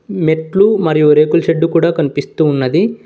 మెట్లు మరియు రేకుల షెడ్డు కూడా కనిపిస్తూ ఉన్నది.